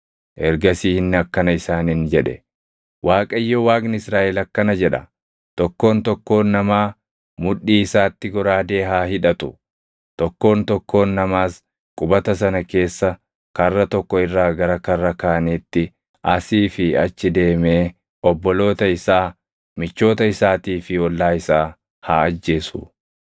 Ergasii inni akkana isaaniin jedhe; “ Waaqayyo Waaqni Israaʼel akkana jedha; ‘Tokkoon tokkoon namaa mudhii isaatti goraadee haa hidhatu; tokkoon tokkoon namaas qubata sana keessa karra tokko irraa gara karra kaaniitti asii fi achi deemee obboloota isaa, michoota isaatii fi ollaa isaa haa ajjeesu.’ ”